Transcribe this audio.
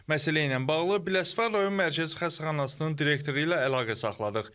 Məsələ ilə bağlı Biləsuvar rayon Mərkəzi Xəstəxanasının direktoru ilə əlaqə saxladıq.